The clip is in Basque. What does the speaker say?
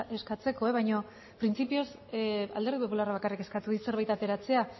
eskatzeko baino printzipioz alderdi popularrak bakarrik eskatu dit zerbait ateratzea